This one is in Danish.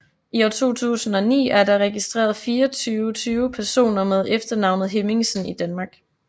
I 2009 er der registreret 2420 personer med efternavnet Hemmingsen i Danmark